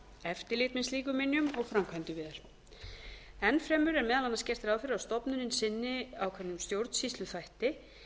eftirlit með slíkum minjum og framkvæmdir við þær enn fremur er meðal annars gert ráð fyrir að stofnunin sinni ákveðnum stjórnsýsluþætti